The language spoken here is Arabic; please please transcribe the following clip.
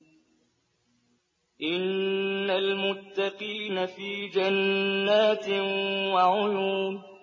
إِنَّ الْمُتَّقِينَ فِي جَنَّاتٍ وَعُيُونٍ